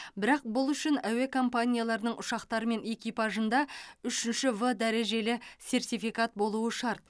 бірақ бұл үшін әуе компанияларының ұшақтары мен экипажында үшінші в дәрежелі сертификат болуы шарт